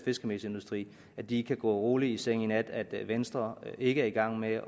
fiskemelsindustri at de kan gå roligt i seng i nat og at venstre ikke er i gang med at